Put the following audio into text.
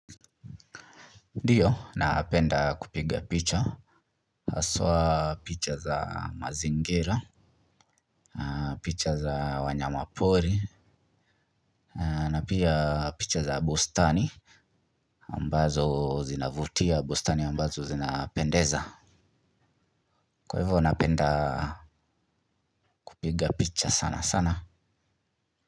Ndiyo, napenda kupiga picha, haswa picha za mazingira na picha za wanyama pori, na pia picha za bustani, ambazo zinavutia bustani ambazo zinapendeza kwa hivyo napenda kupiga picha sana sana.